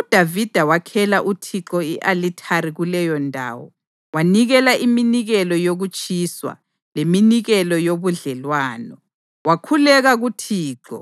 UDavida wakhela uThixo i-alithari kuleyondawo wanikela iminikelo yokutshiswa leminikelo yobudlelwano. Wakhuleka kuThixo,